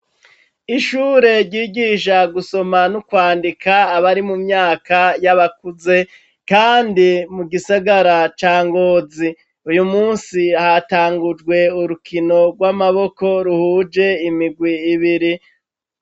Ishure ryigisha gusoma no kwandika, abari mu myaka y'abakuze, kandi mu gisagara ca Ngozi; uyu munsi hatangujwe urukino rw'amaboko, ruhuje imigwi ibiri.